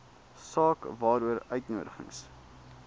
saak waaroor uitnodigings